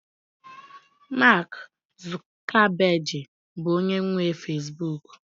Mak Zukabegị bụ onye nwe fezbuk